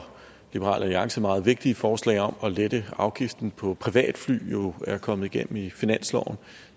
liberal alliance meget vigtige forslag om at lette afgiften på privatfly jo er kommet igennem i finansloven